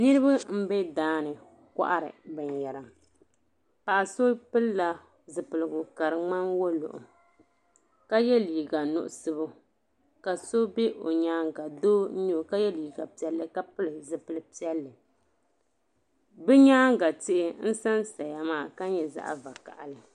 Niriba m-be daa n-kɔhiri binyɛra. Paɣa so pilila zipiligu ka di ŋmani woluɣu ka ye liiga nuɣiso ka so be o nyaaŋga doo n-nyɛ o ka ye liiga piɛlli ka pili zipil' piɛlli. Bɛ nyaaŋga tihi n-sansaya maa ka nyɛ zaɣ' vakahili.